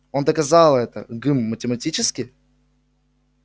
он доказал это гм математически